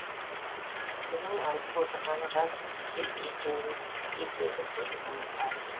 бұның айтып отырғаны рас деп екеудің бірі мойындады